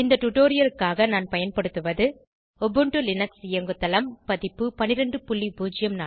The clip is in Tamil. இந்த டுடோரியலுக்காக நான் பயன்படுத்துவது உபுண்டு லினக்ஸ் இயங்குதளம் பதிப்பு 1204